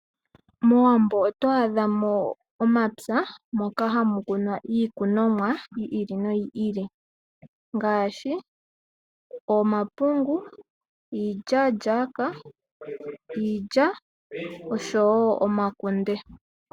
MOwambo oto adhamo omapya moka hamu kunwa iikunomwa yili noyili ngaashi omapungu, iilyaalyaaka , iilya oshowoo omakunde.